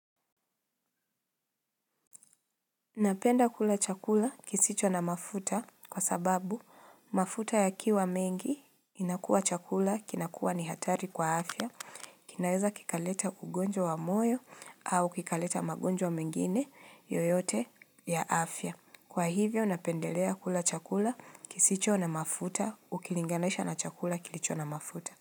Napenda kula chakula kisicho na mafuta kwa sababu mafuta ya kiwa mengi inakua chakula kinakua ni hatari kwa afya. Kinaweza kikaleta ugonjwa wa moyo au kikaleta magonjwa mengine yoyote ya afya. Kwa hivyo napendelea kula chakula kisicho na mafuta ukilinganesha na chakula kilicho na mafuta.